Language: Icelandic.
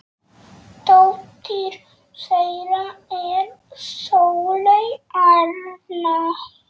Dóttir þeirra er Sóley Arna.